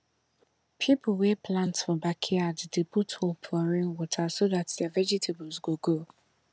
people wey plant for backyard dey put hope for rainwater so dat their vegetables go grow